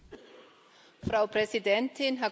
Frau Präsidentin, Herr Kommissar!